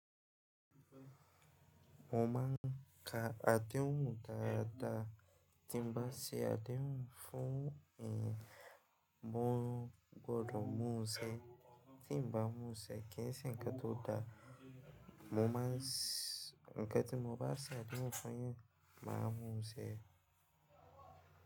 Mo ma ka adéhùn daadà. Tí ń bá ṣe adéhùn fún èèyàn, mo gbódò mú ṣe. Tí ń bá mú ṣe, kí ń ṣe ǹkan tó dá. Mo máa ń s ǹkan tí mo bá ṣe adéhùn fún yàn, màá mú ṣe.